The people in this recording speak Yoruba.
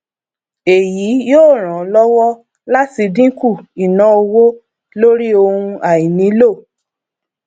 èyí yóò ràn ọ lọwọ láti dínkù ìnáowó lórí ohun àìnílò